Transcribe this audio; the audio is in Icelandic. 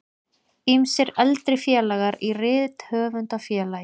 Ýmsir eldri félagar í Rithöfundafélagi